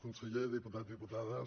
conseller diputats diputades